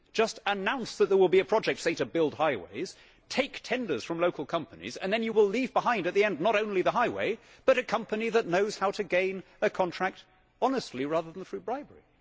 Just announce that there will be a project, say to build highways, take tenders from local companies and then you will leave behind at the end not only the highway but a company that knows how to gain a contract honestly rather than through bribery.'